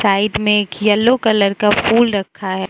Side में एक yellow colour का फूल रखा है।